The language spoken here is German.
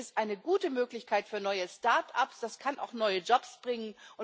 Das ist eine gute Möglichkeit für neue Start ups, das kann auch neue Jobs bringen.